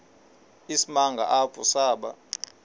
isimanga apho saba